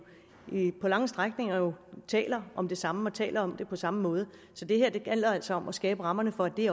på lange strækninger taler om det samme og taler om det på samme måde så det gælder altså om her at skabe rammerne for at det